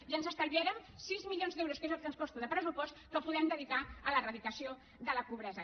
i ens estalviarem sis milions d’euros que és el que ens costa de pressupost que podem dedicar a l’eradicació de la pobresa